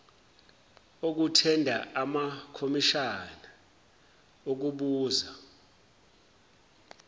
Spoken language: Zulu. okuthenda amakomishana okubuza